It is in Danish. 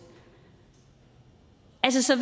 så